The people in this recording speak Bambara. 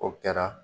O kɛra